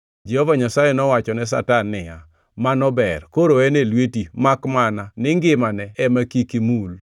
Jehova Nyasaye nowachone Satan niya, “Mano ber, koro en e lweti; makmana ni ngimane ema kik imul.”